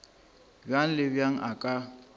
bjang le bjang a ka